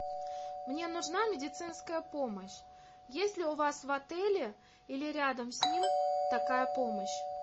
мне нужна медицинская помощь есть ли у вас в отеле или рядом с ним такая помощь